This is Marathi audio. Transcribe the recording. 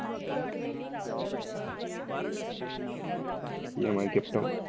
MIcapetown.